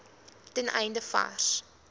ten einde vars